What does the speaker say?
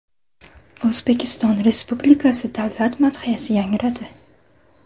O‘zbekiston Respublikasi Davlat madhiyasi yangradi.